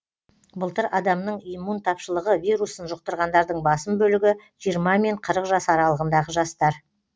былтыр адамның иммун тапшылығы вирусын жұқтырғандардың басым бөлігі жиырма мен қырық жас аралығындағы жастар